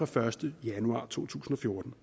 første januar to tusind og fjorten